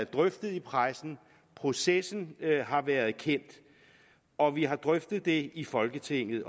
drøftet i pressen processen har været kendt og vi har drøftet det i folketinget